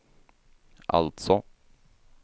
alltså